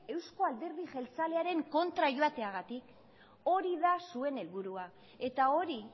euzko alderdi jeltzalearen kontra joateagatik hori da zuen helburua eta hori